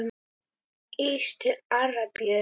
Ís til Arabíu?